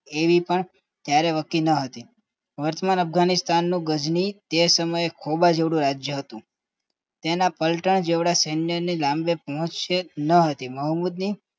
એવી પણ ત્યારે વકીલાત હતી વર્તમાન અફઘાનિસ્તાન તે સમયે ગજની ખોબા જેવળું રાજ્ય હતું તેના પલટા જેવડા સૈન્યને લાંબે પહોંચશે નહોતી મોહમ્મદ